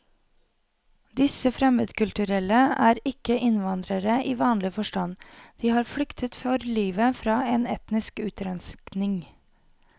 Disse fremmedkulturelle er ikke innvandrere i vanlig forstand, de har flyktet for livet fra en etnisk utrenskning.